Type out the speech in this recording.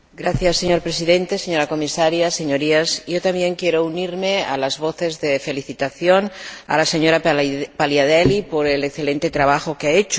Señor Presidente, señora Comisaria, señorías, yo también quiero unirme a las voces de felicitación a la señora Paliadeli por el excelente trabajo que ha hecho.